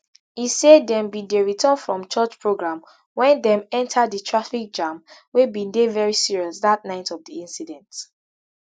e say dem bin dey return from church programme wen dem enta di traffic jam wey bin dey very serious dat night of di incident